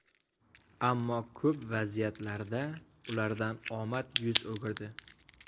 Ammo ko‘p vaziyatlarda ulardan omad yuz o‘girdi.